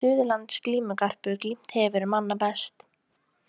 Suðurlands glímugarpur glímt hefur manna best.